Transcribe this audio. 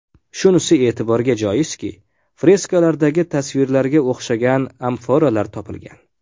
Shunisi e’tiborga joizki, freskalardagi tasvirlarga o‘xshagan amforalar topilgan.